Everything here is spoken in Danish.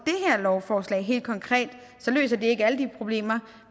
lovforslag helt konkret løser det ikke alle de problemer